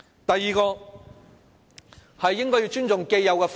第二，尊重既有法制。